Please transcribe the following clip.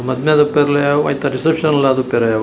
ಮದ್ಮೆದ ಇಪ್ಪರೆರ್ಲಯಾವ್ ಐತ ರಿಸೆಪ್ಷನ್ ಆದುಪ್ಪರೆ ಯಾವ್.